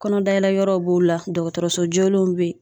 Kɔnɔdayɛlɛ yɔrɔw b'o la ,dɔgɔtɔrɔso jolenw bɛ yen.